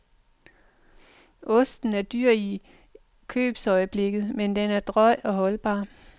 Osten er dyr i købsøjeblikket, men den er drøj og holdbar.